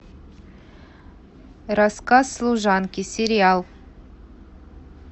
рассказ служанки сериал